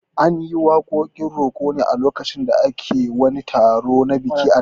An yi waƙoƙin roko ne a lokutan da ake wani taro na biki a da